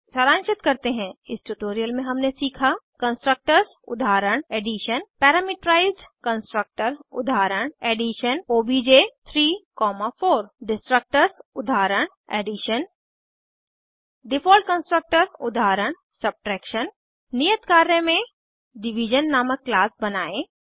सारांशित करते हैं इस ट्यूटोरियल में हमने सीखा कंस्ट्रक्टर्स उदाहरण एडिशन पैरामीटराइज्ड कंस्ट्रक्टर उदाहरण एडिशन ओबीजे 3 4 डिस्ट्रक्टर्स उदाहरण Addition डिफ़ॉल्ट कंस्ट्रक्टर उदाहरण सबट्रैक्शन नियत कार्य में डिविजन नामक क्लास बनायें